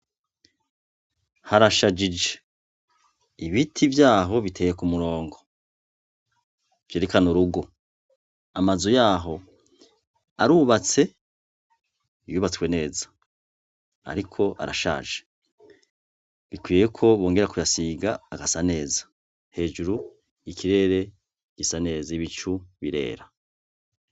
Harashajije, ibiti vyaho biteyek' umurongo vyerekan' urugo, amazu yaho arubatse, yubatswe neza, arik' arashaje bikwiyeko bongera kuyasiga hagasa neza, hejur' ikirere gisa neza, ibicu birera.